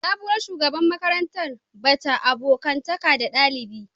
Sabuwar shugaban makarantar ba ta abokantaka da dalibi